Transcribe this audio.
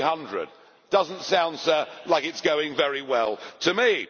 300. It does not sound like it is going very well to me.